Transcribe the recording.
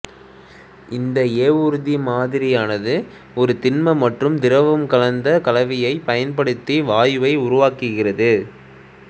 இந்த ஏவூர்தி மாதிரியானது ஒரு திண்ம மற்றும் திரவம் கலந்த கலவையைப் பயன்படுத்தி வாயுவை உருவாக்குகிறது